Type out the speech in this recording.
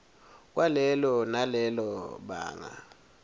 kwalelo nalelo banga